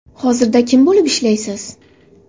Hozirda kim bo‘lib ishlaysiz?